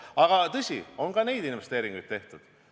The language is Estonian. Aga tõsi on see, et ka neid investeeringuid on tehtud.